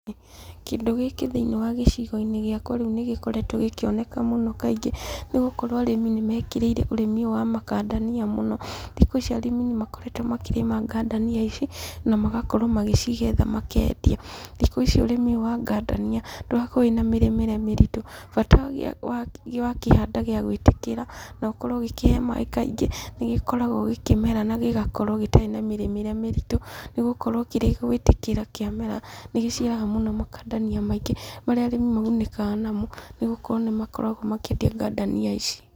Kĩndũ gĩkĩ thĩinĩ wa gĩcigo-inĩ gĩakwa rĩu ,nĩgĩkoretwo gĩkĩoneka mũno kaingĩ, nĩgũkorwo arĩmi nĩmekĩrĩire ũrĩmi ũyũ wa Makandamia mũno. thikũ ici arĩmi nĩmakoretwo makĩrĩma ngandania ici, namagakorwo magĩcigetha makendia. Thikũ ici ũrĩmi ũyũ wa ngandania ndũarkorwo wĩna mĩrĩmĩre mĩritũ, bata wakĩhanda gĩagwĩtĩkĩra, na ũkorwo ũgĩkĩhe maaĩ kaingĩ, nĩgĩkoragwo gĩkĩmera na gĩgakorwo gĩtarĩ na mĩrĩmĩre mĩritũ, nĩgũkorwo kĩrĩ gwĩtĩkĩra kĩamera, nĩgĩciaraga mũno makandamia maingĩ, marĩa arĩmi magunĩkaga namo, nĩgũkorwo nĩmakoragwo makĩendia ngandania ici.